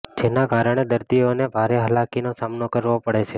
જેના કારણે દર્દીઓને ભારે હાલાકીનો સામનો કરવો પડે છે